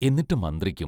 എന്നിട്ടു മന്ത്രിക്കും.